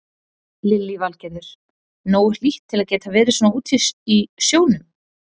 Lillý Valgerður: Nógu hlýtt til að geta verið svona úti í sjónum?